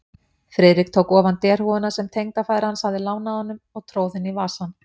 Friðrik tók ofan derhúfuna, sem tengdafaðir hans hafði lánað honum, og tróð henni í vasann.